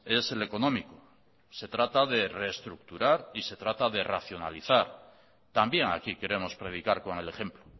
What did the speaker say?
es el económico se trata de reestructurar y se trata de racionalizar también aquí queremos predicar con el ejemplo